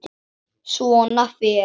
Svona fer.